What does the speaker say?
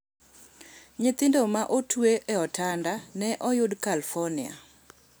Nyithindo ma otwe e otanda ne oyud California